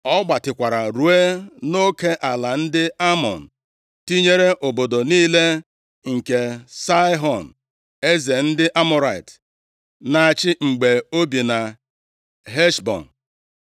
Ọ gbatịkwara ruo nʼoke ala ndị Amọn, tinyere obodo niile nke Saịhọn, eze ndị Amọrait na-achị mgbe o bi na Heshbọn.